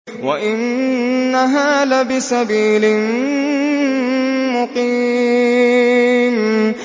وَإِنَّهَا لَبِسَبِيلٍ مُّقِيمٍ